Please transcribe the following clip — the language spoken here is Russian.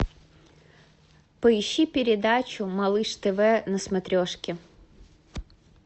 поищи передачу малыш тв на смотрешке